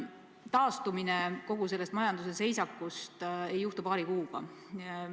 Taastumine kogu sellest majanduse seisakust ei õnnestu paari kuuga.